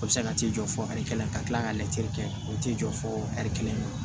O bɛ se ka t'i jɔ fɔ ɛri kelen ka kila ka latiri kɛ o t'i jɔ fɔ ɛri kelen